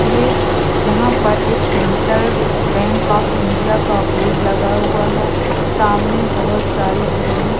yes यहां पर एक सेंट्रल बैंक आफ इंडिया का बोर्ड लगा हुआ है सामने बहोत सारी बिल्डिंग --